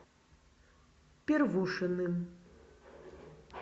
первушиным